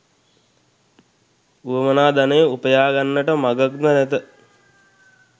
වුවමනා ධනය උපයා ගන්නට මගක් ද නැත.